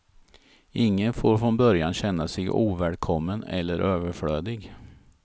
Ingen får från början känna sig ovälkommen eller överflödig.